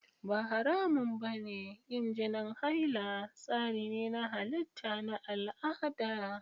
Ba haramun ba ne yin jinin haila; tsari ne na halitta na al'ada.